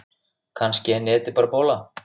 Kannski er netið bara bóla.